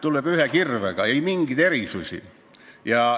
Tuleb lüüa ühe kirvega, ei mingeid erisusi.